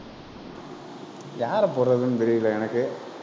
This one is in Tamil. யாரைப் போடறதுன்னு தெரியலே எனக்கு.